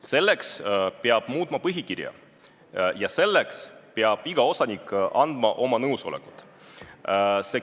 Selleks peab muutma põhikirja ja selleks peab iga osanik andma oma nõusoleku.